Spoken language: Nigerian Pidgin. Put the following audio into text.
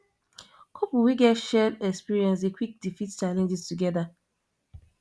couple we get shared experiences dey quick defeat challenges together